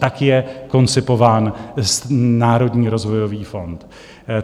Tak je koncipován Národní rozvojový fond.